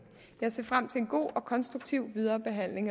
jeg ser frem til en god og konstruktiv viderebehandling